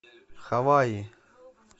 хаваи